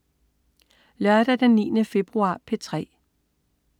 Lørdag den 9. februar - P3: